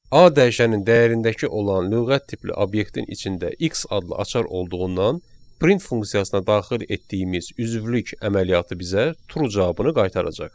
A dəyişənin dəyərindəki olan lüğət tipli obyektin içində X adlı açar olduğundan print funksiyasına daxil etdiyimiz üzvlük əməliyyatı bizə true cavabını qaytaracaq.